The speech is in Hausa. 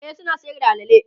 e suna Sayar da alala